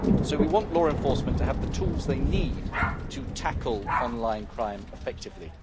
We want law enforcement agencies to have the tools they need to tackle online crime effectively.